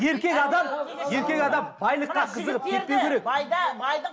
еркек адам еркек адам байлыққа қызығып кетпеу керек